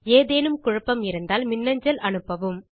ஏதேனும் குழப்பம் இருந்தால் மின்னஞ்சல் அனுப்பவும்